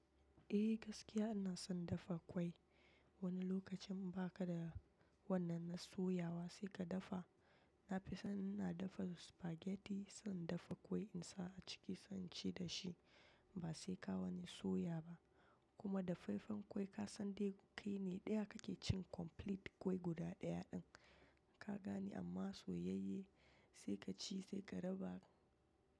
Eh gaskiya ina son dafa ƙwai. Wani lokacin ba ka da wannan na soyawa sai ka dafa. Na fi son ina dafa spaghetti, zan dafa ƙwai in sa a ciki, zan ci da shi ba sai ka wani soya ba. Kuma dafaffen ƙwai ka san dai kai ne ɗaya kake cin complete ƙwai guda ɗaya ɗin ka gani amma soyayye sai ka ci sai ka raba.